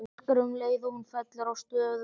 Öskra um leið og hún fellur að stöfum.